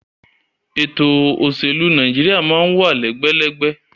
Ètò òṣèlú Nàìjíríà máa ń wà lẹ́gbẹ́lẹ́gbẹ́